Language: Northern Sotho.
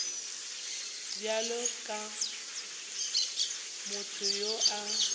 bjalo ka motho yo a